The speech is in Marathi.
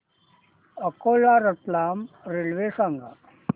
अकोला रतलाम रेल्वे सांगा